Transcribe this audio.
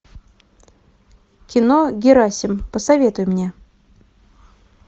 кино герасим посоветуй мне